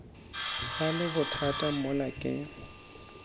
ba le bothata mola ke